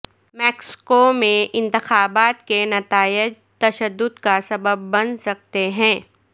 Mexico میں انتخابات کے نتائج تشدد کا سبب بن سکتے ہیں